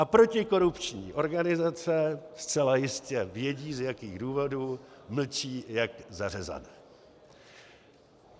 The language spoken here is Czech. A protikorupční organizace zcela jistě vědí, z jakých důvodů mlčí jak zařezané.